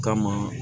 Kama